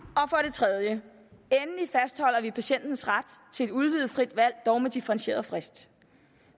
tredje fastholder vi endelig patientens ret til et udvidet frit valg dog med differentieret frist